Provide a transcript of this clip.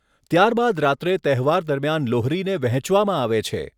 ત્યારબાદ રાત્રે તહેવાર દરમિયાન લોહરીને વહેંચવામાં આવે છે.